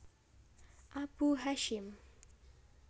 Abu Hasyim